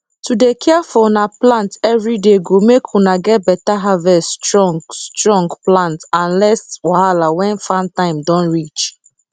to dey care for una plant everyday go make una get beta harvest strong strong plant and less wahala when farm time don reach